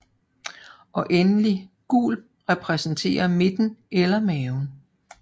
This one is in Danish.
Og endelig gul repræsenterer midten eller maven